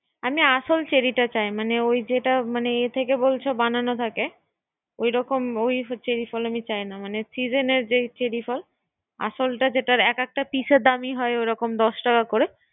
তাহলে আসল চেরী টা চাই। মানে ওই যে মানে ইয়া থেকে বলছো বানানো থাকে। ওই রকম চেরী ফল চাই না। মানে ছি জেনের যে চেরী ফল আসলা যেটা একেকটার দাম দশ টাকা করে